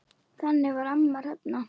Þannig var amma Hrefna.